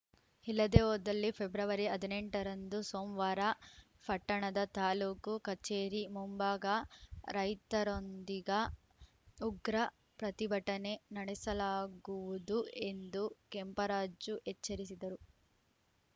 ಹಿಲದೆ ಹೋದಲ್ಲಿ ಫೆಬ್ರವರಿ ಹದಿನೆಂಟ ರಂದು ಸೋಮವಾರ ಪಟ್ಟಣದ ತಾಲೂಕು ಕಚೇರಿ ಮುಂಭಾಗ ರೈತರೊಂದಿಗ ಉಗ್ರ ಪ್ರತಿಭಟನೆ ನಡೆಸಲಾಗುವುದು ಎಂದು ಕೆಂಪರಾಜು ಎಚ್ಚರಿಸಿದರು